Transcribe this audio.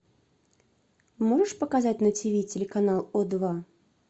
можешь показать на тв телеканал о два